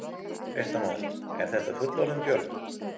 Fréttamaður: Er þetta fullorðinn björn?